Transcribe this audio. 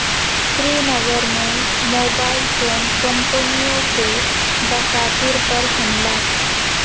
سری نگر میں mobile phone کمپنیوں کے دفاتر پر حملہ